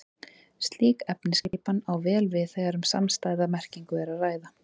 Slík efnisskipan á vel við þegar um samstæða merkingu er að ræða.